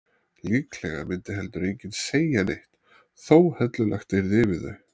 Líklega myndi heldur enginn segja neitt þótt hellulagt yrði yfir þau.